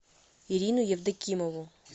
ирину евдокимову